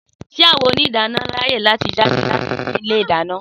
Sé awõn òníìdánõ ráyè jádè latí ìnú ìlé ìdáñõ?